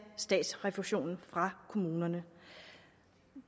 statsrefusionen fra kommunerne